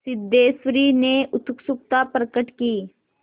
सिद्धेश्वरी ने उत्सुकता प्रकट की